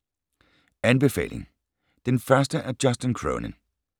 Anbefaling: Den første af Justin Cronin